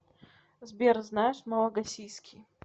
сбер знаешь малагасийский